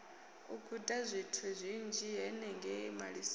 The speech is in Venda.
u gudazwithu zwinzhi henengei malisoni